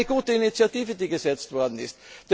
Aber es war eine gute Initiative, die gesetzt worden